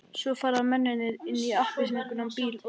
Svo fara mennirnir inn í appelsínugulan bíl og keyra burtu.